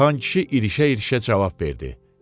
Xankişi irişə-irişə cavab verdi.